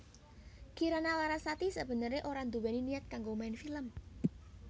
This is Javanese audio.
Kirana Larasati sabeneré ora nduwèni niat kanggo main film